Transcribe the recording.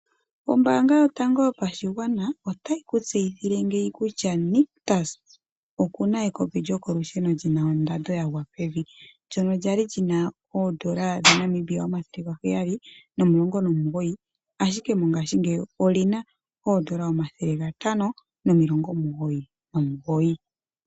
Ombaanga yotango yopashigwana otayi ku tseyithile ngeyi kutya Nictus oku na ekopi lyokolusheno li na ondando yagwa pevi, ndyono lya li li na N$ 719, ashike mongashingeyi oli na N$ 599.